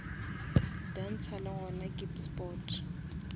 dansa le gona ke sport